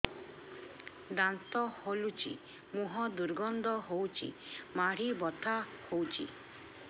ଦାନ୍ତ ହଲୁଛି ମୁହଁ ଦୁର୍ଗନ୍ଧ ହଉଚି ମାଢି ବଥା ହଉଚି